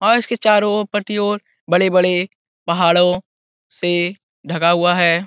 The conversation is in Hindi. और इसके चारो ओर पट्टियों बड़े-बड़े पहाड़ों से ढका हुआ है।